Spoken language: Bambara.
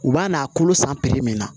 U b'a n'a kolo san min na